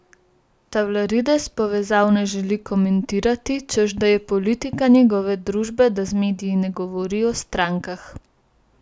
Tavlarides povezav ne želi komentirati, češ da je politika njegove družbe, da z mediji ne govori o strankah.